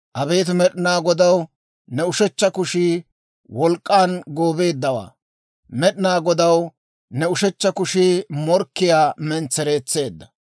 «Abeet Med'inaa Godaw, ne ushechcha kushii wolk'k'an goobeeddawaa; Med'inaa Godaw, ne ushechcha kushii morkkiyaa mentsereetseedda.